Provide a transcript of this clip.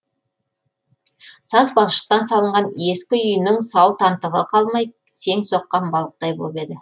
саз балшықтан салынған ескі үйінің сау тамтығы қалмай сең соққан балықтай боп еді